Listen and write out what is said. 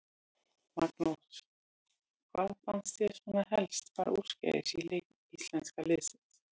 Magnús: Hvað fannst þér svona helst fara úrskeiðis í leik íslenska liðsins?